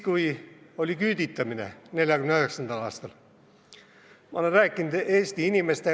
Kui oli küüditamine, 1949. aastal, siis saadeti inimesi Siberisse.